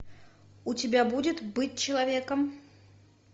у тебя будет быть человеком